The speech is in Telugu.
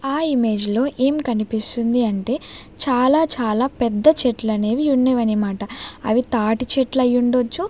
ఆ ఇమేజ్ లో ఏం కనిపిస్తుంది అంటే చాలా చాలా పెద్ద చెట్లనేవి యున్నవనమాట అవి తాటి చెట్లయిండొచ్చు.